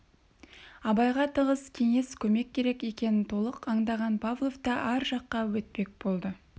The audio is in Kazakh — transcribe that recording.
абайға тығыз кеңес көмек керек екенін толық аңдаған павлов та ар жаққа өтпек болды